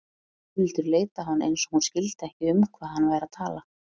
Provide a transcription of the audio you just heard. Gunnhildur leit á hann eins og hún skildi ekki um hvað hann væri að tala.